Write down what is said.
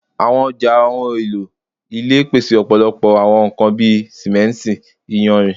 Awọn ọja ohun elo ile pese ọpọlọpọ awọn ohun kan bi simenti, iyanrin